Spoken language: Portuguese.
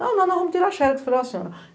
Não, nós vamos tirar a xerox falei o senhora...